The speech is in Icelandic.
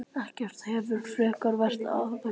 Ekkert hefði frekar verið ákveðið.